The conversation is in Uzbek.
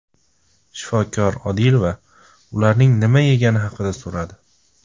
Shifokor Odilova ularning nima yegani haqida so‘radi.